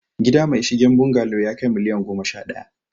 Gida mai shigen bungalo yakai miliyan goma sha daya